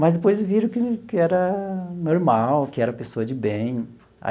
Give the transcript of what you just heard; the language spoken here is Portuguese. Mas depois viram que que era normal, que era pessoa de bem.